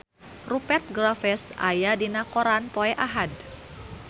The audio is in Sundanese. Rupert Graves aya dina koran poe Ahad